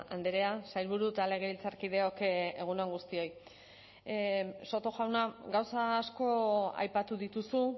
andrea sailburu eta legebiltzarkideok egun on guztioi soto jauna gauza asko aipatu dituzu